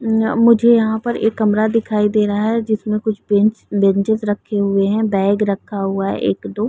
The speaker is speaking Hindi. मम मुझे यहाँ पर एक कमरा दिखाई दे रहा है जिसमें कुछ बेंच बेंचेस रखे हुए हैं बैग रखा हुआ है एक-दो।